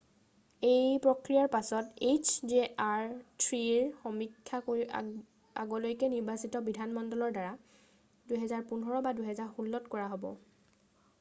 এই প্ৰক্ৰিয়াৰ পিছত hjr-3ৰ সমীক্ষা আগলৈকে নিৰ্বাচিত বিধানমণ্ডলৰ দ্বাৰা 2015 বা 2016ত কৰা হব।